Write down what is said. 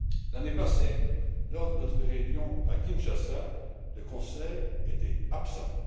L'année passée, lors de notre réunion à Kinshasa, le Conseil était absent.